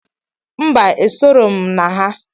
Mba esorọm na ha.